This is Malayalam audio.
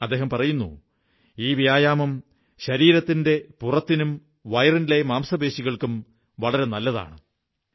അദ്ദേഹം പറയുന്നു ഈ വ്യായാമം പുറത്തിനും വയറിന്റെ മാംസപേശികൾക്കും വളരെ നല്ലതാണ് എന്ന്